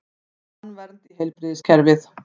Vill tannvernd í heilbrigðiskerfið